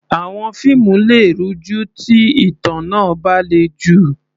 Àwọn fíìmù lè rújú tí ìtàn náà bá le jù.